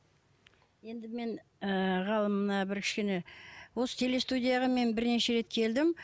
енді мен ыыы ғалым мына бір кішкене осы телестудияға мен бірнеше рет келдім